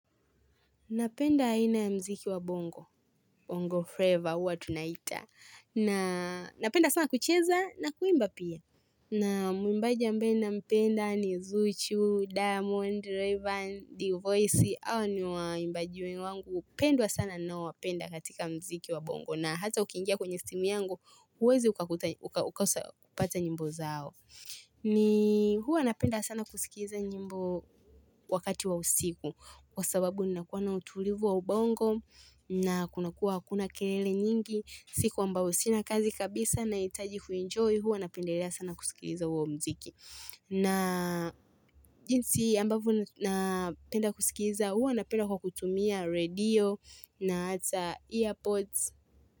Napenda aina ya mziki wa bongo, bongo flavor huwa tunaita. Na napenda sana kucheza na kuimba pia. Na mwimbaji ambaye, nampenda, ni zuchu, diamond, rayvanny, dvoice, hao ni waimbaji wangu. Pendwa sana ninaowapenda katika mziki wa bongo. Na hata ukiingia kwenye simu yangu, huwezi ukakosa kupata nyimbo zao. Ni huwa napenda sana kusikiza nyimbo wakati wa usiku. Kwa sababu ninakuwa na utulivu wa ubongo na kunakuwa hakuna kelele nyingi siku ambayo sina kazi kabisa nahitaji kuenjoy huwa napendelea sana kusikiliza huo mziki na jinsi ambavyo napenda kusikiliza huwa napenda kwa kutumia radio na ata earpods.